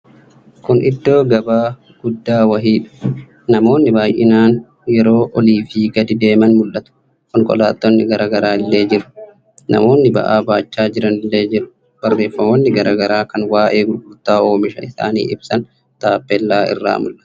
Kun iddoo gabaa guddaa wayiidha. Namoonni baay'inaan yeroo oliifii gadi deeman mul'atu. Konkolaattonni garaa garaa illee jiru. Namoonni ba'aa baachaa jiran illee jiru. Barreeffamoonni garaa garaa kan waa'ee gurgurtaa oomisha isaanii ibsan tappellaa irraa mul'atu.